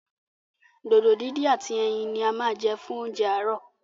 Dòdò díndín ati ẹyin ní a má jẹ́ fún oúnjẹ aarọ.